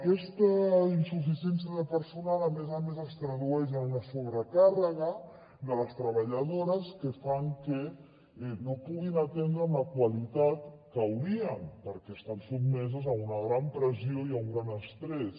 aquesta insuficiència de personal a més a més es tradueix en una sobrecàrrega de les treballadores que fa que no puguin atendre amb la qualitat que caldria perquè estan sotmeses a una gran pressió i a un gran estrès